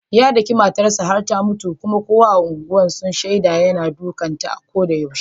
Ya daki matar sa har ta mutu, kuma kowa a unguwar sun shaida yana dukan ta a ko yaushe.